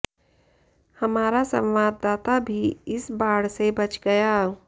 हमारा संवाददाता भी इस बाढ़ से बच गया